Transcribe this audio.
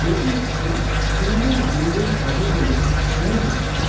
এটি একটি সুন্দর বিল্ডিং হবে বলে মনে হচ্ছে।